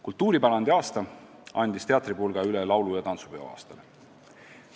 Kultuuripärandi aasta andis teatripulga üle laulu- ja tantsupeo aastale.